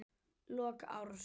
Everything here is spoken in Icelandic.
Lok árs.